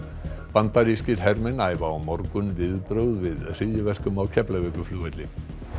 bandarískir hermenn æfa á morgun viðbrögð við hryðjuverkum á Keflavíkurflugvelli